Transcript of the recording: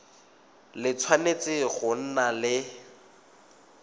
le tshwanetse go nna le